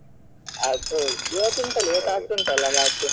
ಅದು ಹೌದು ಇವತ್ತು ಉಂಟಲ್ಲ ಇವತ್ತು ಆಗ್ತಾ ಉಂಟಲ್ಲ match .